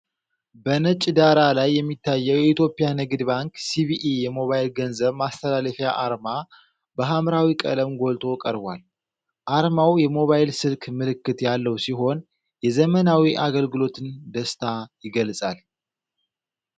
በነጭ ዳራ ላይ የሚታየው የኢትዮጵያ ንግድ ባንክ (ሲቢኢ) የሞባይል ገንዘብ ማስተላለፊያ አርማ በሐምራዊ ቀለም ጎልቶ ቀርቧል። አርማው የሞባይል ስልክ ምልክት ያለው ሲሆን፣ የዘመናዊ አገልግሎትን ደስታ ይገልጻል።